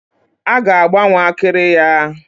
A ga-agbanwe akịrị ya.